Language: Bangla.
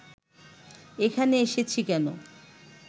এখানে এসেছি কেন